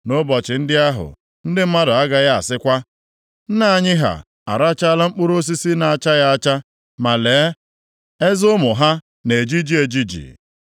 “Nʼụbọchị ndị ahụ, ndị mmadụ agaghị asịkwa, “ ‘Nna anyị ha arachaala mkpụrụ osisi na-achaghị acha, ma lee, eze ụmụ ha na-ejiji ejiji.’